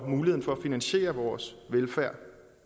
muligheden for at finansiere vores velfærd